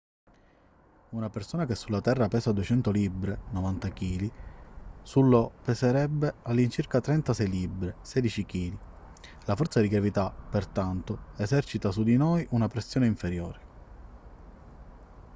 una persona che sulla terra pesa 200 libbre 90 kg su io peserebbe all'incirca 36 libbre 16 kg. la forza di gravità pertanto esercita su di noi una pressione inferiore